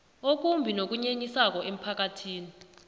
okumbi nokunyenyisako emphakathini